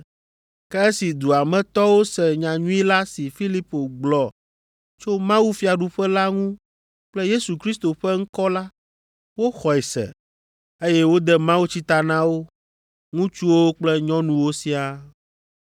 Ke esi dua me tɔwo se nyanyui la si Filipo gblɔ tso mawufiaɖuƒe la ŋu kple Yesu Kristo ƒe ŋkɔ la, woxɔe se, eye wode mawutsi ta na wo, ŋutsuwo kple nyɔnuwo siaa.